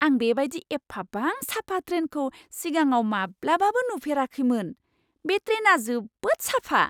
आं बेबायदि एफाबां साफा ट्रेनखौ सिगाङाव माब्लाबाबो नुफेराखैमोन। बे ट्रेना जोबोद साफा!